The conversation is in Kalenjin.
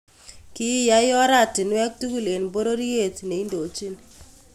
Kiyai oratinweek tugul en pororyeet neindochin